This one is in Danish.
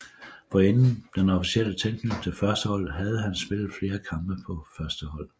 Forinden den officielle tilknytning til førsteholdet havde han spillet flere kampe for førsteholdet